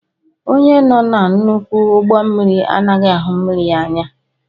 Onye nọ na nnukwu ụgbọ mmiri anaghị ahụ mmiri anya